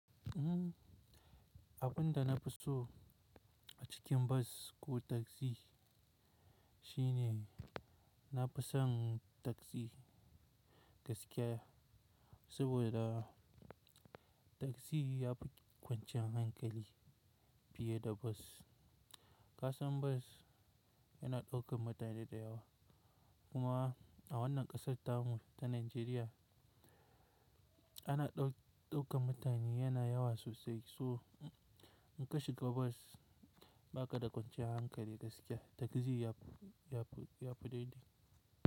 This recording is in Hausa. Abun da na fi so a cikin bas ko taksi shine na fi son taksi gaskiya saboda taksi ya fi kwanciyar hankali fiye da bas. Kasan bas yana daukar mutane da yawa, kuma a wannan ƙasar tamu ta Najeriya ana ɗaukar mutane yana yawa sosai so in ka shiga bas ba ka da kwanciyar hankali gaskiya. Taksi ya fi, ya fi daidai.